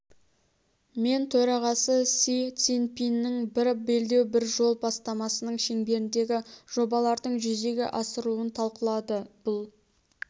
мен төрағасы си цзиньпиннің бір белдеу бір жол бастамасының шеңберіндегі жобалардың жүзеге асырылуын талқылады бұл